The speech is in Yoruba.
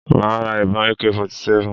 Màá ra ìbọn Ak 47